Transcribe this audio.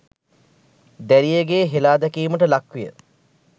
දැරියගේ හෙලා දැකීමට ලක්විය.